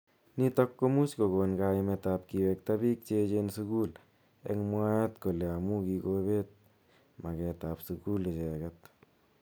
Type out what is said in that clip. Nitok komuch kokon kaimet ab kiwekta bik cheechen sukul eng mwaet kele amu kikobet maket ab sukul icheket.